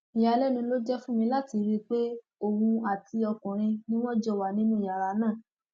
ìyàlẹnu ló jẹ fún mi láti rí i pé òun àti ọkùnrin ni wọn jọ wà nínú yàrá náà